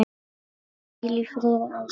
Hvíl í friði, elsku Egill.